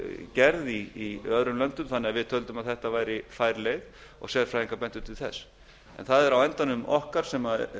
gerði í öðrum löndum þannig að við töldum að þetta væri fær leið og sérfræðingar bentu til þess það er á endanum okkar sem